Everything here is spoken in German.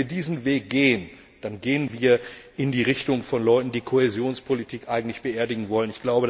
Wenn wir diesen Weg gehen, dann gehen wir in die Richtung von Leuten, die die Kohäsionspolitik eigentlich beerdigen wollen.